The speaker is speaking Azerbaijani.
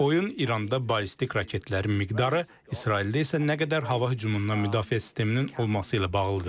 Oyun İranda ballistik raketlərin miqdarı, İsraildə isə nə qədər hava hücumundan müdafiə sisteminin olması ilə bağlıdır.